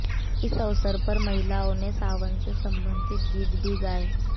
इस अवसर पर महिलाओं ने सावन से संबंधित गीत भी गाए